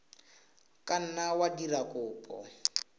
ka nna wa dira kopo